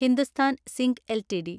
Hindustan zinc LTD